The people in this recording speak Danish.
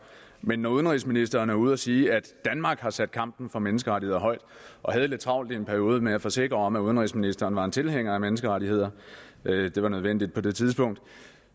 men når udenrigsministeren er ude at sige at danmark har sat kampen for menneskerettigheder højt og havde lidt travlt i en periode med at forsikre om at udenrigsministeren var tilhænger af menneskerettigheder det var nødvendigt på det tidspunkt